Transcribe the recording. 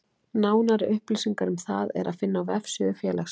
Nánari upplýsingar um það er að finna á vefsíðu félagsins.